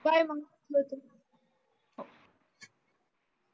bye मग